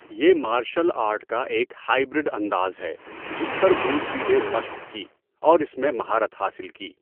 یہ martial art کا ایک ہائبرڈ انداز ہے جس پر بروس لی نے مشق کی اور اس میں مہارت حاصل کی۔